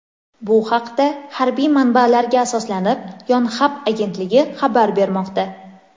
Bu haqda, harbiy manbalarga asoslanib, Yonhap agentligi xabar bermoqda .